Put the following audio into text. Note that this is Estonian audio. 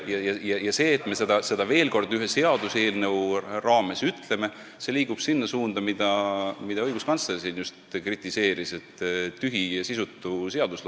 Kuid see, et me seda veel kord ühe seaduseelnõu raames ütleme, et me liigume selles suunas, on tühi ja sisutu seadusloome, mida õiguskantsler siin just kritiseeris.